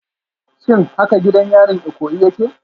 Shin haka gidan yarin Ikoyi yake?